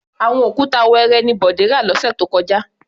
Àwọn òkúta wẹẹrẹ ni Bọ̀dé rà lọ́sẹ̀ tó kọjá.